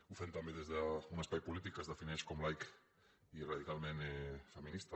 ho fem també des d’un espai polític que es defineix com a laic i radicalment feminista